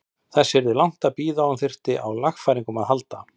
Þess yrði langt að bíða að hún þyrfti á lagfæringum að halda.